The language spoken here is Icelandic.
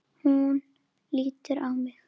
Hún lítur á mig.